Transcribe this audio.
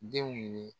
Denw ye